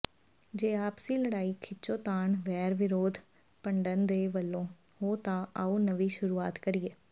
ਜੇ ਆਪਸੀ ਲੜਾਈ ਖਿੱਚੋਤਾਣ ਵੈਰ ਵਿਰੋਧ ਭੰਡਣ ਤੋ ਵਿਹਲੇ ਹੋ ਤਾ ਆਉ ਨਵੀ ਸੁਰੂਆਤ ਕਰੀਏ